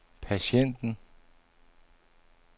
patienten